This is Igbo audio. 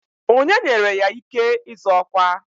Onye nyere ya ike ịzọ ọkwa?